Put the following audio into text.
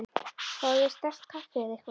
Fáðu þér sterkt kaffi eða eitthvað.